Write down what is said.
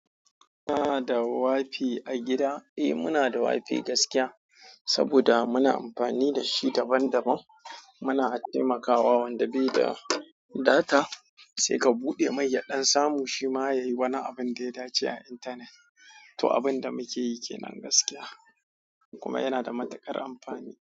Kuna da WiFi a gida? Eh muna da WiFi gaskiya, saboda muna amfani da shi daban-daban. Muna taimakawa wanda bai da data sai ka buɗe mai ya ɗan samu shi ma yayi wani abin da ya dace a intanet. To abinda muke yi kenan gaskiya. Kuma yana da matuƙar amfani.